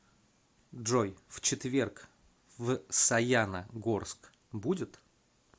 джой в четверг в саяна горск будет